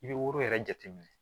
I bɛ woro yɛrɛ jate minɛ